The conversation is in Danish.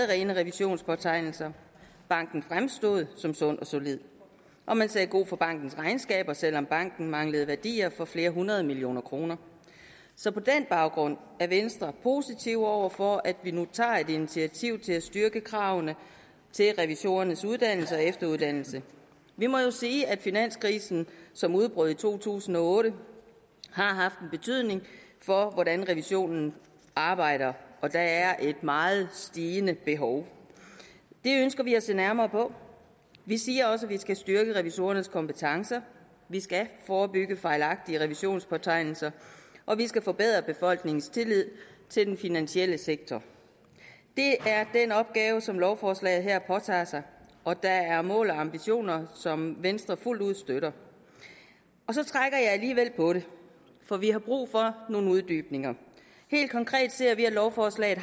rene revisionspåtegnelser banken fremstod som sund og solid og man sagde god for bankens regnskaber selv om banken manglede værdier for flere hundrede millioner kroner så på den baggrund er venstre positiv over for at vi nu tager et initiativ til at styrke kravene til revisorernes uddannelse og efteruddannelse vi må jo sige at finanskrisen som udbrød i to tusind og otte har haft en betydning for hvordan revisionen arbejder og at der er et meget stigende behov det ønsker vi at se nærmere på vi siger også at vi skal styrke revisorernes kompetencer vi skal forebygge fejlagtige revisionspåtegnelser og vi skal forbedre befolkningens tillid til den finansielle sektor det er den opgave som lovforslaget her påtager sig og der er mål og ambitioner som venstre fuldt ud støtter så trækker jeg alligevel på det for vi har brug for nogle uddybninger helt konkret ser vi at lovforslaget